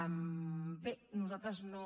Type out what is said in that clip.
bé nosaltres no